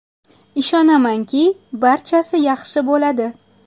Ishonamanki, barchasi yaxshi bo‘ladi.